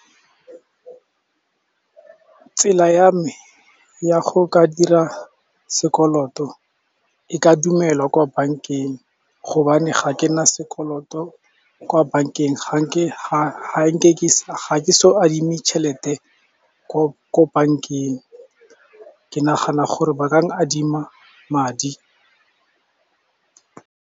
Tsela ya me ya go ka dira sekoloto e ka dumelwa kwa bank-eng, gobane ga ke na sekoloto kwa bank-eng ga ke so adime tšhelete ko ko bank-eng, ke nagana gore ba ka adima madi.